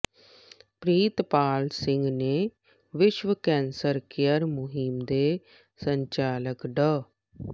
ਪਿ੍ਰਤਪਾਲ ਸਿੰਘ ਨੇ ਵਿਸ਼ਵ cancer care ਮੁਹਿੰਮ ਦੇ ਸੰਚਾਲਕ ਡਾ